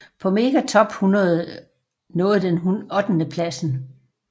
På Mega Top 100 nåede den ottendepladsen